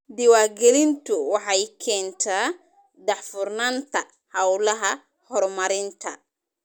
Diiwaangelintu waxay keentaa daahfurnaanta hawlaha horumarinta.